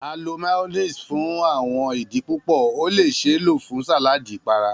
A lo Mayonnaise fun awọn idi pupọ, o le ṣee lo fun saladi ipara.